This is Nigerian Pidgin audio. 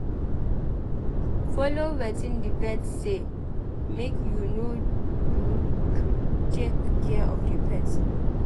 Follow wetin di vet sey make you do to take care of di pet